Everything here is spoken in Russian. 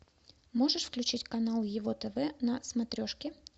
можешь включить канал его тв на смотрешке